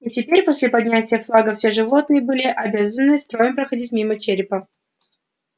и теперь после поднятия флага все животные были обязаны строем проходить мимо черепа